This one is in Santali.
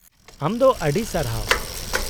-ᱟᱢ ᱫᱚ ᱟᱹᱰᱤ ᱥᱟᱨᱦᱟᱣ !